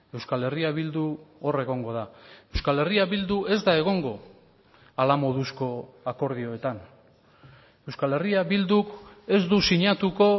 euskal herria bildu hor egongo da euskal herria bildu ez da egongo hala moduzko akordioetan euskal herria bilduk ez du sinatuko